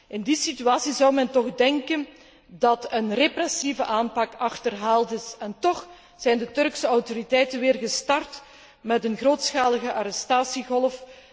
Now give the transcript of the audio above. In die situatie zou men toch denken dat een repressieve aanpak achterhaald is, en tóch zijn de Turkse autoriteiten weer gestart met een grootschalige arrestatiegolf.